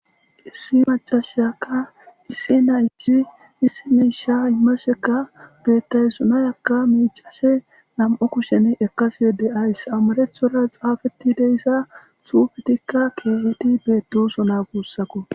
issi macashayakka issi naysi issi miisha imasekka bettay sunayakka miicase nam7o kushen ekasi de'awus ys amarethora xaafeti deyssa tuufetikka keehedi beetoso na guussako